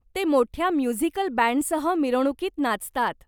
ते मोठ्या म्युझिकल बँडसह मिरवणुकीत नाचतात.